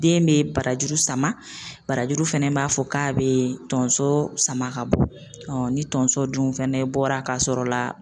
Den bɛ barajuru sama, barajuru fana b'a fɔ k'ale bɛ tonso sama ka bɔ, ɔ ni tonso dun fɛnɛ bɔra k'a sɔrɔ la